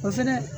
O fɛnɛ